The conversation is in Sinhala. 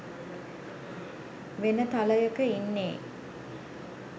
වෙන තලයක ඉන්නේ